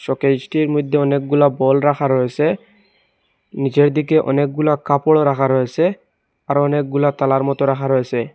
শোকেসটির মইধ্যে অনেকগুলা বল রাখা রয়েসে নীচের দিকে অনেকগুলা কাপড় রাখা রয়েসে আর অনেকগুলা তালার মতো রাখা রয়েসে।